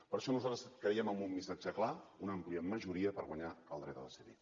per això nosaltres creiem en un missatge clar una àmplia majoria per guanyar el dret a decidir